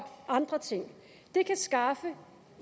andre ting kan skaffe